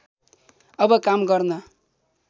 अब काम गर्न